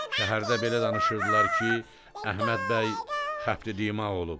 Şəhərdə belə danışırdılar ki, Əhməd bəy xəfədimağ olub.